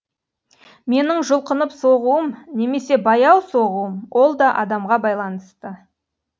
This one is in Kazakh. менің жұлқынып соғуым немесе баяу соғуым ол да адамға байланысты